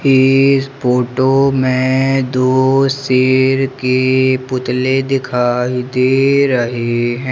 इस फोटो में दो शेर के पुतले दिखाई दे रहे हैं।